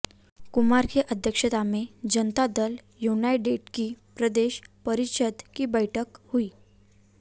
कुमार की अध्यक्षता में जनता दल युनाइटेड की प्रदेश परिषद की बैठक हुई